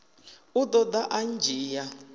u ḓo ḓa a ndzhia